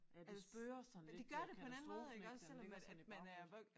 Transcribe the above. Ja det spøger sådan lidt øh katastrofen ik den ligger sådan i baghovedet